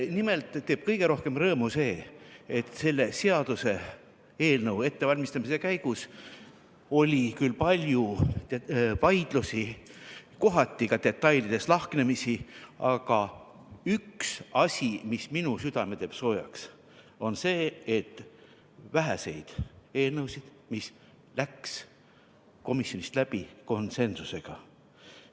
Nimelt teeb kõige rohkem rõõmu see, et selle seaduseelnõu ettevalmistamise käigus oli küll palju vaidlusi, kohati ka detailides lahknemisi, aga üks asi, mis minu südame soojaks teeb, on see, et see on üks väheseid eelnõusid, mis läks komisjonist läbi konsensusega.